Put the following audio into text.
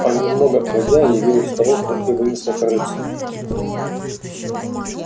а немного погодя явилась старуха и вынесла корытце